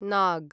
नाग्